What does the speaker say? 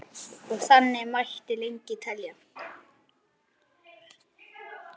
Og þannig mætti lengi telja.